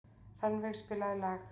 Rannveig, spilaðu lag.